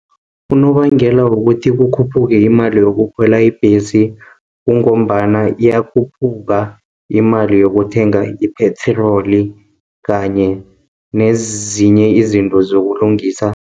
Unobangela wokuthi kukhuphuke imali yokukhwela ibhesi, kungombana iyakhuphuka imali yokuthenga iphetroli kanye nezinye izinto zokulungisa